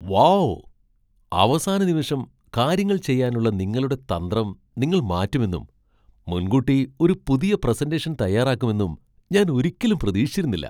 Wow ! അവസാന നിമിഷം കാര്യങ്ങൾ ചെയ്യാനുള്ള നിങ്ങളുടെ തന്ത്രം നിങ്ങൾ മാറ്റുമെന്നും, മുൻകൂട്ടി ഒരു പുതിയ പ്രസന്റേഷൻ തയ്യാറാക്കുമെന്നും ഞാൻ ഒരിക്കലും പ്രതീക്ഷിച്ചിരുന്നില്ല.